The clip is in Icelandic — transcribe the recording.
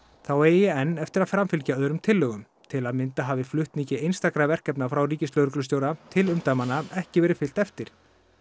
þá eigi enn eftir að framfylgja öðrum tillögum til að mynda hafi flutningi einstakra verkefna frá ríkislögreglustjóra til umdæmanna ekki verið fylgt eftir